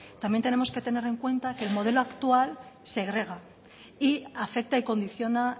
también tenemos que tener en cuenta que el modelo actual segrega y afecta y condiciona